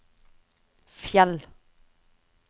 Fjell